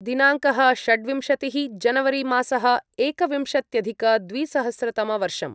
दिनाङ्कः षड्विंशतिः जनवरिमासः एकविंशत्यधिकद्विसहस्रतमवर्षम्